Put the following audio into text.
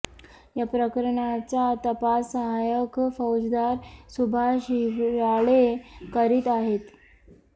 या प्रकरणाचा तपास सहायक फौजदार सुभाष हिवराळे करीत आहेत